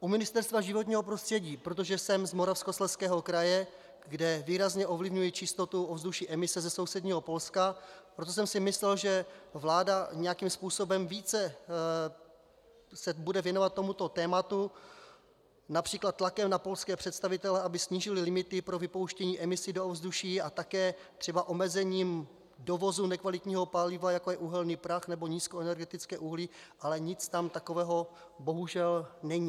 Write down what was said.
U Ministerstva životního prostředí, protože jsem z Moravskoslezského kraje, kde výrazně ovlivňuje čistotu ovzduší emise ze sousedního Polska, proto jsem si myslel, že vláda nějakým způsobem více se bude věnovat tomuto tématu, například tlakem na polské představitele, aby snížili limity pro vypouštění emisí do ovzduší a také třeba omezením dovozu nekvalitního paliva, jako je uhelný prach nebo nízkoenergetické uhlí, ale nic tam takového bohužel není.